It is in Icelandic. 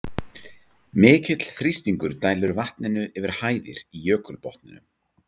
Mikill þrýstingur dælir vatninu yfir hæðir í jökulbotninum.